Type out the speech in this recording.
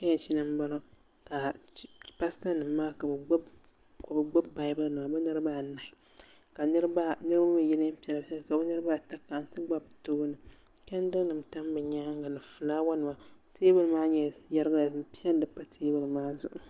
Chechi ni m boŋɔ ka paasita nima maa ka bɛ gbibi baabuli nima bɛ niriba anahi ka yino mee ye niɛn'piɛla ka bɛ niriba ata kana n ti gba bɛ tooni chendiri nima tam bɛ nyaanga ni filaawa nima teebuli yerigila bin piɛlli pa teebuli maa zuɣu.